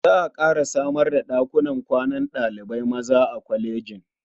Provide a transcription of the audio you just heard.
Za a ƙara samar da ɗakunan kwanan ɗalibai maza a kwalejin.